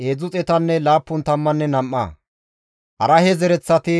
Iyaasoppenne Iyo7aabe naytappe Pahaate-Mo7aabe zereththati 2,812,